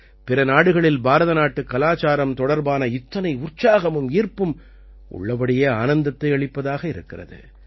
பிற நாடுகளில் பாரத நாட்டுக் கலாச்சாரம் தொடர்பான இத்தனை உற்சாகமும் ஈர்ப்பும் உள்ளபடியே ஆனந்தத்தை அளிப்பதாக இருக்கிறது